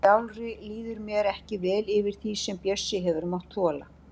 Sjálfri líður mér ekki vel yfir því sem Bjössi hefur mátt þola.